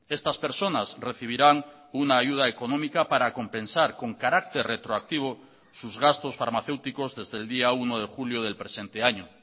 estas personas recibirán una ayuda económica para compensar con carácter retroactivo sus gastos farmacéuticos desde el día uno de julio del presente año